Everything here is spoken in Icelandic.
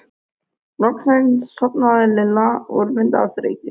Loksins sofnaði Lilla úrvinda af þreytu.